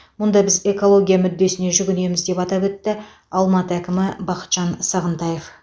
мұнда біз экология мүддесіне жүгінеміз деп атап өтті алматы әкімі бақытжан сағынтаев